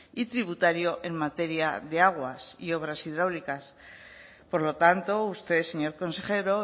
y tributario en materia de aguas y obras hidráulicas por lo tanto usted señor consejero